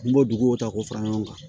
N b'o duguw ta k'o fara ɲɔgɔn kan